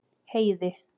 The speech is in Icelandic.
Heiði